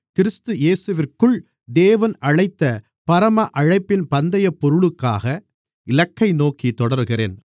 கிறிஸ்து இயேசுவிற்குள் தேவன் அழைத்த பரம அழைப்பின் பந்தயப்பொருளுக்காக இலக்கை நோக்கித் தொடருகிறேன்